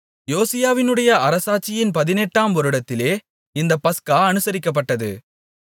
யோசியாவுடைய அரசாட்சியின் பதினெட்டாம் வருடத்திலே இந்த பஸ்கா அனுசரிக்கப்பட்டது